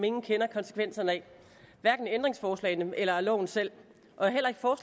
ingen kender konsekvenserne af hverken af ændringsforslagene eller af loven selv og